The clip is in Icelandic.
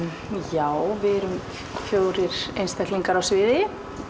já við erum fjórir einstaklingar á sviði